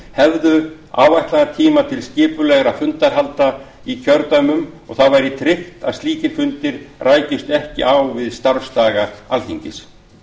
hefðu áætlaðan tíma til skipulegra fundahalda í kjördæmum og þá væri tryggt að slíkir fundir rækjust ekki á við starfsdaga alþingis